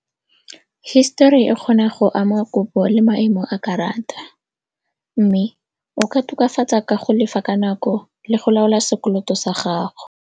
Hisetori e kgona go ama kopo le maemo a karata mme o ka tokafatsa ka go lefa ka nako le go laola sekoloto sa gago.